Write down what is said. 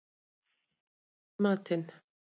Gunnólfur, hvað er í matinn?